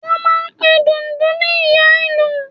Wọ́n máà ń pe Dundun ní Ìyá Ìlú